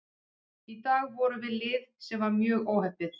Í dag vorum við lið sem var mjög óheppið.